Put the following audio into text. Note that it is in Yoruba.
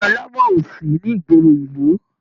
Ilé alámọ̀ o sí ní ìgboro ìlú.